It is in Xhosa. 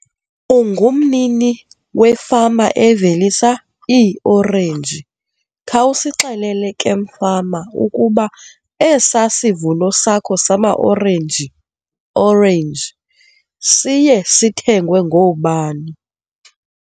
Ungumnini wefama eveliswa iiorenji, khawusixelele ke mfama ukuba esaa sivuno sakho sama orenji, orenji siye sithengwe ngoobani.